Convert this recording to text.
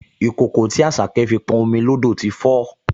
Ìkòkò tí Àṣàkẹ́ fi pọn omi lódò ti fó